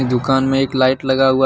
दुकान में एक लाइट लगा हुआ--